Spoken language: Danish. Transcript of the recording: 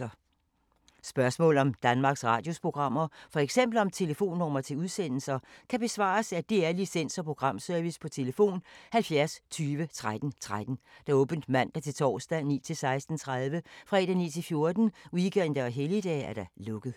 Spørgsmål om Danmarks Radios programmer, f.eks. om telefonnumre til udsendelser, kan besvares af DR Licens- og Programservice: tlf. 70 20 13 13, åbent mandag-torsdag 9.00-16.30, fredag 9.00-14.00, weekender og helligdage: lukket.